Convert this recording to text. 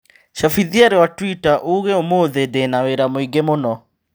cabithia rũa tũita ũũge ũmũthĩ ndĩna wĩra mũingĩ mũno.